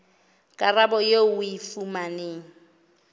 karabo eo o e fumanang